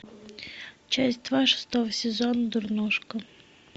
часть два шестого сезона дурнушка